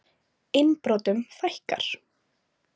Innbrotum fækkar